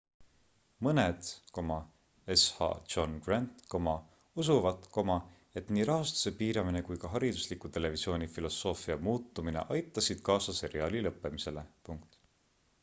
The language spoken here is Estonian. mõned sh john grant usuvad et nii rahastuse piiramine kui ka haridusliku televisiooni filosoofia muutumine aitasid kaasa seriaali lõppemisele